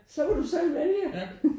Så må du selv vælge